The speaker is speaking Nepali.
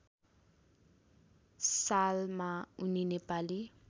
सालमा उनी नेपाली